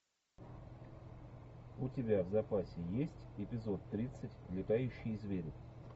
у тебя в запасе есть эпизод тридцать летающие звери